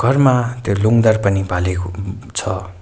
घरमा धेरै लुङ्गदर पनि बालेको उम छ।